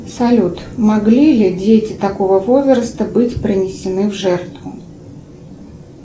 салют могли ли дети такого возраста быть принесены в жертву